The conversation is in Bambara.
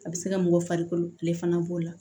A bɛ se ka mɔgɔ farikolo kile fana b'o la